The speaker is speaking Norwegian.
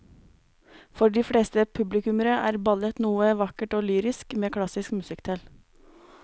For de fleste publikummere er ballett noe vakkert og lyrisk med klassisk musikk til.